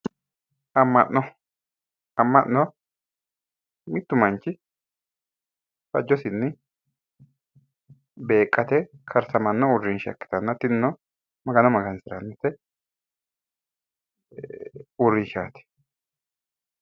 Amma'no mittu manchi fajjosinni karsamanno uurrinsha ikkitanna tinino magano Magansirate uurrinshshaati.